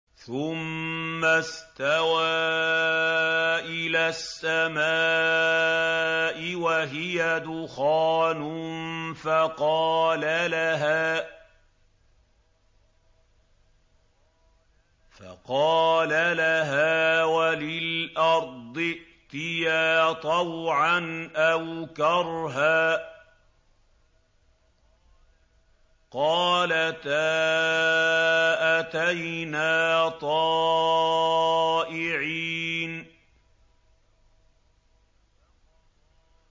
ثُمَّ اسْتَوَىٰ إِلَى السَّمَاءِ وَهِيَ دُخَانٌ فَقَالَ لَهَا وَلِلْأَرْضِ ائْتِيَا طَوْعًا أَوْ كَرْهًا قَالَتَا أَتَيْنَا طَائِعِينَ